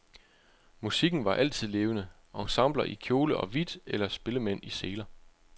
Musikken var altid levende, ensembler i kjole og hvidt eller spillemænd i seler.